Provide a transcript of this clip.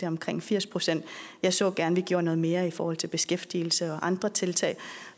omkring firs procent jeg så gerne at vi gjorde noget mere i forhold til beskæftigelse og andre tiltag